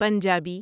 Punjabi